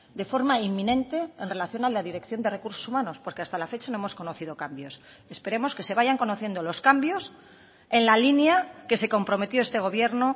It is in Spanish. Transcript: de forma inminente en relación a la dirección de recursos humanos porque hasta la fecha no hemos conocido cambios esperemos que se vayan conociendo los cambios en la línea que se comprometió este gobierno